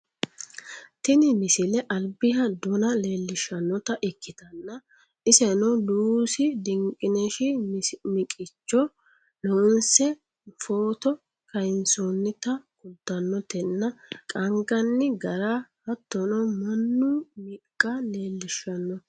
tini misile albiha dona leellishshannota ikitanna iseno luusi dinqineshi misicho loonse footo kayeensoonnita kultannotenna qaanganni gara hattono mannu miqqa leelishshannote